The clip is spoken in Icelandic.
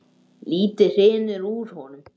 Lítið hrynur úr honum.